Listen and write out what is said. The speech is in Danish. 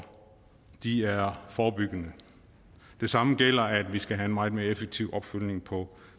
de er forebyggende det samme gælder i vi skal have en meget mere effektiv opfølgning på